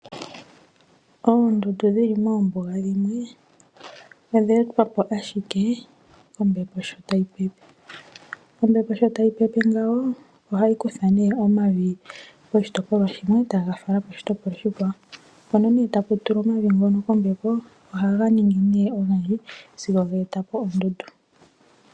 Oondundu dhi mi moombuga dhimwe odha etwa po ashike kombepo sho tayi pepe. Ombepo sho tayi pepe ngawo, ohayi kutha nee omavi poshitopolwa shimwe, taga falwa poshitopolwa oshikwawo. Mpano mee tapu tulwa omavi kombepo, ohaga ningi nee ogendji sigo ga eta po oondundu.